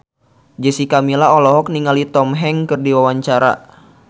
Jessica Milla olohok ningali Tom Hanks keur diwawancara